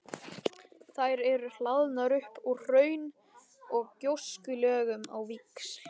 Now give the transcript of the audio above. Þær eru hlaðnar upp úr hraun- og gjóskulögum á víxl.